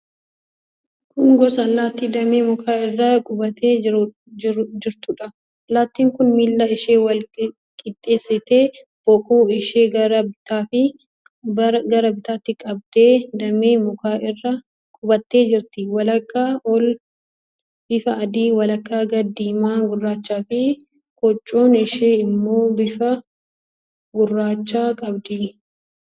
Kun gosa allaattii damee mukaa irra qubattee jirtuudha. Allaattiin kun miila ishee wal qixxeessitee, boquu ishee gara bitaatti qabdee damee mukaa irra qubattee jirti. Walakkaa ol bifa adii, walakkaa gad diimaa gurraachaafi kochoon ishee immoo bifa gurraacha qabdi.